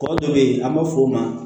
Tɔ dɔ bɛ yen an b'a fɔ o ma